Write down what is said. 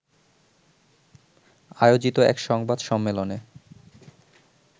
আয়োজিত এক সংবাদ সম্মেলনে